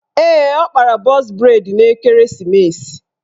Ee, ọ kpara bọz breid n'ekeresimeesi